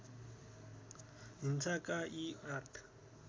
हिंसाका यी आठ